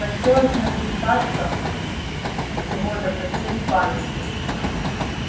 хотелось нахлестаться его до потери памяти